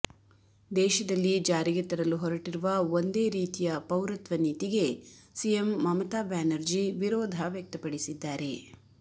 ದೇಶದಲ್ಲಿ ಜಾರಿಗೆ ತರಲು ಹೊರಟಿರುವ ಒಂದೇ ರೀತಿಯ ಪೌರತ್ವ ನೀತಿಗೆ ಸಿಎಂ ಮಮತಾ ಬ್ಯಾನರ್ಜಿ ವಿರೋಧ ವ್ಯಕ್ತಪಡಿಸಿದ್ದಾರೆ